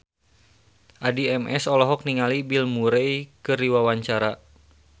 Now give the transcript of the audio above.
Addie MS olohok ningali Bill Murray keur diwawancara